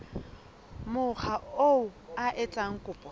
mokga oo a etsang kopo